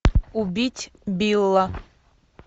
убить билла